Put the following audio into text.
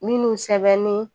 Minnu sɛbɛnnen